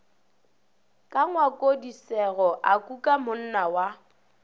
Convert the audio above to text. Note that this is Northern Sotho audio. ka ngwakongdisego a kukamonna wa